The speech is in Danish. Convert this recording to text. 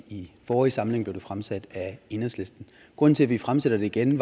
i forrige samling blev det fremsat af enhedslisten grunden til at vi fremsætter det igen